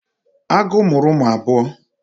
Agu muru umu abuo